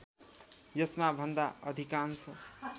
यसमा भन्दा अधिकांश